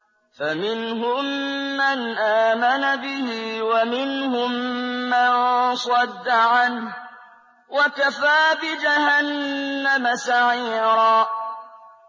فَمِنْهُم مَّنْ آمَنَ بِهِ وَمِنْهُم مَّن صَدَّ عَنْهُ ۚ وَكَفَىٰ بِجَهَنَّمَ سَعِيرًا